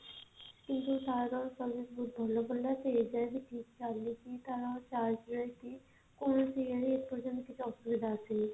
କିନ୍ତୁ ତାର service ବହୁତ ଭଲ ପଡିଲା ସେ ଏଯାଏଁ ବି ଠିକ ଚାଲିଛି ତା charge ରେ କି କୋଣସି ଇଏ ରେ ଏ ପର୍ଯ୍ୟନ୍ତ ହେଲା କିଛି ଅସୁବିଧା ଆସିନି